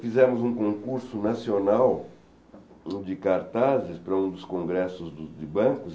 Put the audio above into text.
Fizemos um concurso nacional de cartazes para um dos congressos do de bancos.